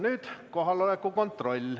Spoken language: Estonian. Nüüd kohaloleku kontroll.